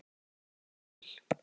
Ég tók það inn í bíl.